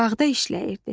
Bağda işləyirdi.